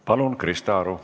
Palun, Krista Aru!